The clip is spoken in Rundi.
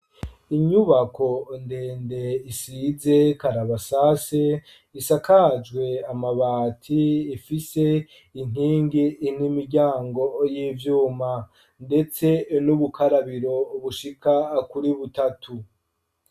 Inyubako ndende isize karabasase, isakajwe amabati, ifise inkingi n'imiryango y'ivyuma, ndetse n'ubukarabiro bushika kuri butatu.